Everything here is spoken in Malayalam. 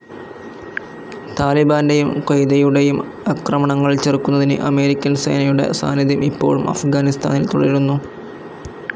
താലിബാൻ്റെയും ഖ്വയ്ദയുടെയും ആക്രമണങ്ങൾ ചെറുക്കുന്നതിന് അമേരിക്കൻ സേനയുടെ സാന്നിധ്യം ഇപ്പോഴും അഫ്‌ഗാനിസ്ഥാനിൽ തുടരുന്നു.